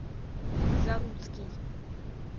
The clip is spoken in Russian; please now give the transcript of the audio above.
заруцкий